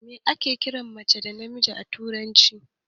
Me ake kiran macen zaki a turanci?